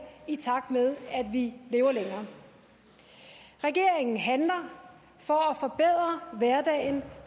i takt med vi lever længere regeringen handler for at forbedre hverdagen